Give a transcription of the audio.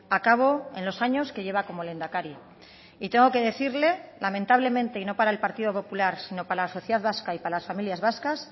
a cabo en los años que lleva como lehendakari y tengo que decirle lamentablemente y no para el partido popular sino para la sociedad vasca y para las familias vascas